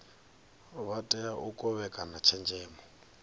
vha tea u kovhekana tshenzhemo